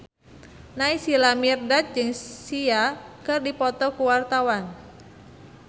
Naysila Mirdad jeung Sia keur dipoto ku wartawan